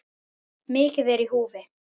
Mikið er í húfi.